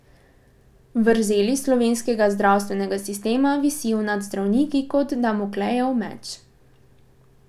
Vrzeli slovenskega zdravstvenega sistema visijo nad zdravniki kot damoklejev meč.